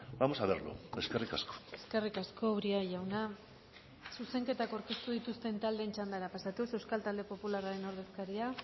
vamos a verlo eskerrik asko eskerrik asko uria jauna zuzenketak aurkeztu dituzten taldeen txandara pasatuz euskal talde popularraren ordezkaria